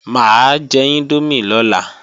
Mà á jẹ índómì lọ́la